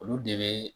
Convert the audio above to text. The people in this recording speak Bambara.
Olu de bɛ